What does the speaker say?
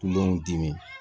dimi